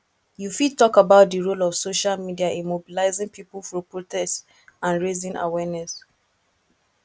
you fit talk about di role of social media in mobilizing people for protest and raising awareness